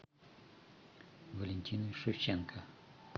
валентиной шевченко